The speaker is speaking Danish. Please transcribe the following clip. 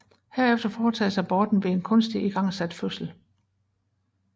Herefter foretages aborten ved en kunstigt igangsat fødsel